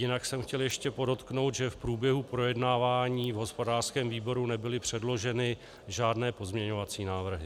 Jinak jsem chtěl ještě podotknout, že v průběhu projednávání v hospodářském výboru nebyly předloženy žádné pozměňovací návrhy.